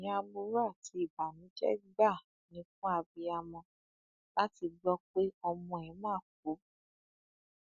ìròyìn aburú àti ìbànújẹ gbáà ni fún abiyamọ láti gbọ pé ọmọ ẹ máa kú